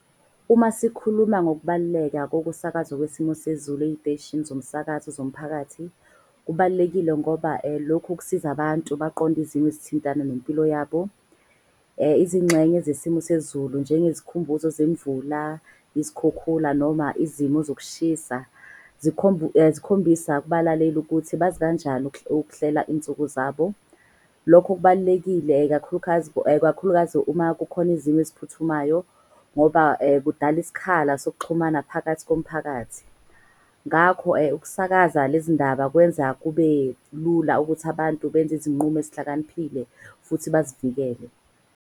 Uma sikhuluma ngokubaluleka kokusakazwa kwesimo sezulu eziteshini zomsakazo zomphakathi. Kubalulekile ngoba lokhu kusiza abantu baqonde izimo ezithintana nempilo yabo. Izingxenye zesimo sezulu njenge zikhumbuzo zemvula, izikhukhula noma izimo ezokushisa. Zikhombisa kubalaleli ukuthi bazi kanjani ukuhlela izinsuku zabo. Lokho kubalulekile kakhulukazi uma kukhona izimo eziphuthumayo. Ngoba kudala isikhala sokuxhumana phakathi komphakathi. Ngakho ukusakaza lezi ndaba kwenza kube lula ukuthi abantu benze izinqumo ezihlakaniphile futhi bazivikele.